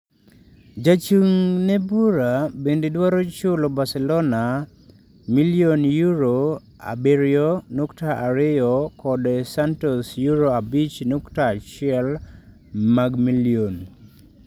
Jachung' ne bura bende dwaro chulo Barcelona £ milion abirionukta ariyo kod Santos £ abich nukta auchiel milion.